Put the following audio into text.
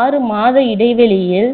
ஆறு மாத இடைவெளியில்